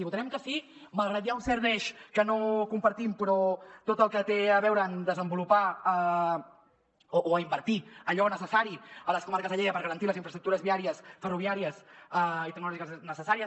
hi votarem que sí malgrat que hi ha un cert deix que no compartim però tot el que té a veure amb desenvolupar o invertir allò necessari a les comarques de lleida per garantir les infraestructures viàries ferroviàries i tecnològiques necessàries